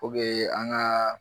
an ka